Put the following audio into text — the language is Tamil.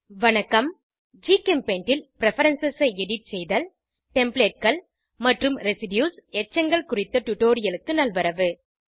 வணக்கம் ஜிகெம்பெய்ண்ட் ல் பிரெஃபரன்ஸ் ஐ எடிட் செய்தல் Templateகள் மற்றும் ரெசிடியூஸ் எச்சங்கள் குறித்த டுடோரியலுக்கு நல்வரவு